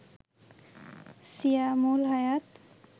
Siamul Hayat